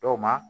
Dɔw ma